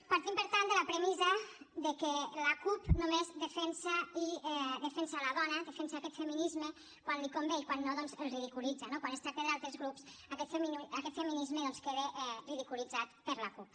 partim per tant de la premissa de que la cup només defensa la dona defensa aquest feminisme quan li convé i quan no doncs el ridiculitza no quan es tracta d’altres grups aquest feminisme queda ridiculitzat per la cup